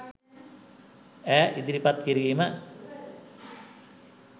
ඈ ඉදිරිපත් කිරීම